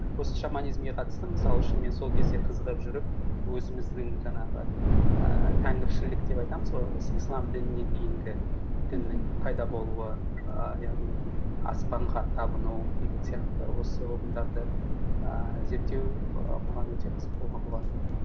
осы шаманизмге қатысты мысалы шын мен сол кезде қызығып жүріп өзіміздің жаңағы ііі тәңіршілдік деп айтамыз ғой осы ислам дініне дейінгі діннің пайда болуы ііі яғни аспанға табыну деген сияқты осы ұғымдарды ііі зерттеу і маған өте қызық болған болатын